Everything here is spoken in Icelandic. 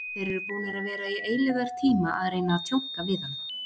Þeir eru búnir að vera í eilífðartíma að reyna að tjónka við hann.